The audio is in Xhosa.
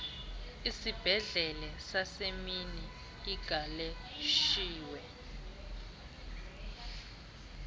isibhedlele sasemini igaleshewe